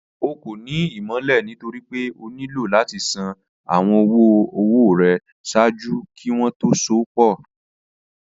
Ọ̀ kọ́ ní ìmọ̀lẹ̀ nítorí pé ọ̀ nílò láti ṣàn awọn ọ̀wọ̀-ọwọ̀ rẹ̀ ṣáàjú kí wọn tó sọ̀ pọ̀